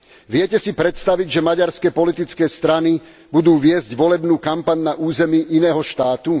Viete si predstaviť, že maďarské politické strany budú viesť volebnú kampaň na území iného štátu?